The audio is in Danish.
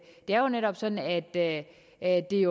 er jo netop sådan at at det